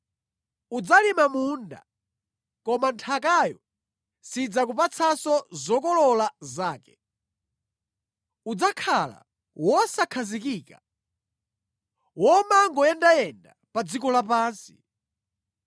Udzalima munda koma nthakayo sidzakupatsanso zokolola zake. Udzakhala wosakhazikika; womangoyendayenda pa dziko lapansi.”